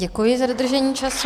Děkuji za dodržení času.